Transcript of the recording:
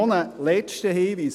Noch ein letzter Hinweis: